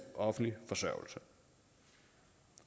offentlig forsørgelse